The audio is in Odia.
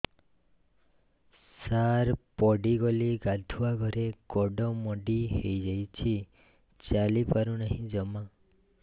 ସାର ପଡ଼ିଗଲି ଗାଧୁଆଘରେ ଗୋଡ ମୋଡି ହେଇଯାଇଛି ଚାଲିପାରୁ ନାହିଁ ଜମା